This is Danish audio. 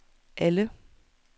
alle